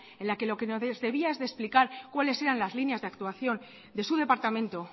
en la que lo que nos debías explicar cuáles eran las líneas de actuación de su departamento